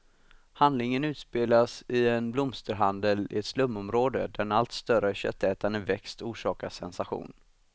Handlingen utspelas i en blomsterhandel i ett slumområde, där en allt större köttätande växt orsakar sensation.